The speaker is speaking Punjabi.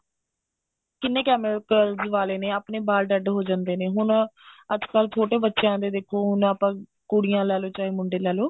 ਕਿੰਨੇ chemicals ਵਾਲੇ ਨੇ ਹੁਣ ਆਪਣੇ ਬਾਲ dead ਹੋ ਜਾਂਦੇ ਨੇ ਅੱਜਕਲ ਛੋਟੇ ਬੱਚਿਆ ਦੇ ਦੇਖੋ ਹੁਣ ਆਪਾਂ ਕੁੜੀਆਂ ਲੈਲੋ ਚਾਹੇ ਮੁੰਡੇ ਲੈਲੋ